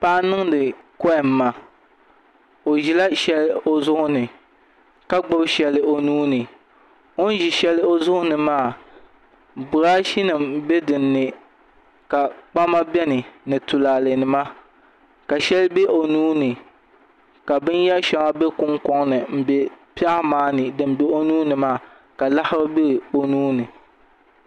Paɣa n niŋdi kohamma o ʒila shɛli o zuɣu ni ka gbubi shɛli o nuuni o ni ʒi shɛli o zuɣu ni maa birash nim n bɛ dinni ka kpama biɛni ni tulaalɛ nima ka shɛli bɛ o nuuni ka binyɛri shɛŋa bɛ kunkoŋ ni n bɛ piɛɣu maa ni o nuuni maa ka laɣafu bɛ o nuuni